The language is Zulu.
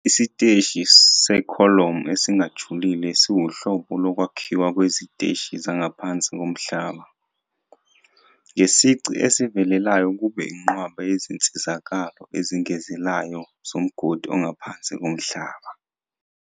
Isiteshi sekholomu esingajulile siwuhlobo lokwakhiwa kweziteshi zangaphansi komhlaba, ngesici esivelelayo kube inqwaba yezinsizakalo ezengezelayo zomgodi ongaphansi komhlaba.